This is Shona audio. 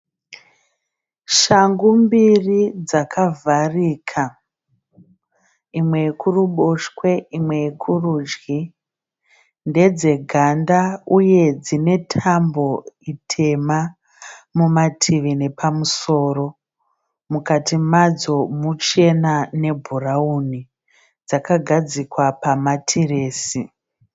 Shangu mbiri dzakavharika, imwe yokuruboshwe imwe yokurudyi. Ndedzeganda uye dzine tambo tema mumativi nepamusoro. Mukati madzo muchena nebhurawuni. Dzakagadzikwa pamatiresi.